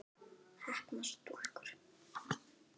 Heppnar stúlkur?